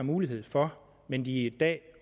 mulighed for men hvad de i dag